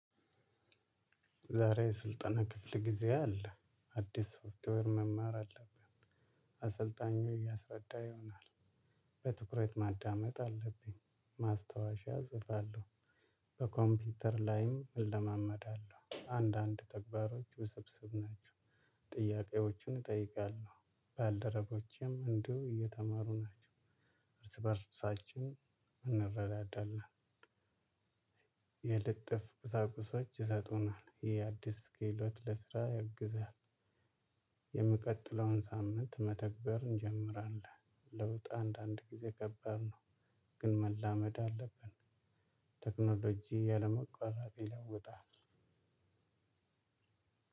ዛሬ ስልጠና ክፍል ጊዜ አለ አዲስ ሶፍትዌር መማር አለብን። አሰልጣኙ እያሰረዳ ይሆናል። በትኩረት ማዳመጥ አለብኝ ማስታወሻ እጽፋለሁ። በኮምፒውተር ላይም እለማመዳለሁ አንዳንድ ተግባሮች ውስብስብ ናቸው። ጥያቄዎችን እጠይቃለሁ። ባልደረቦቼም እንደው እየተማሩ ናቸው። እርስ በእርሳችን እንረዳለን። የልጥፍ ቁሳቁሶች ይሰጡናል ይሄ አዲስ ኬሎት ለስራ ያግዛል። የሚቀጥለውን ሳምንት መተግበር እንጀምራለን። ለውጥ አንዳንድ ጊዜ ከባድ ነው። ግን መላመድ አለብን። ቴክኖሎጂ ያለመቆራጠር ይለውጣል።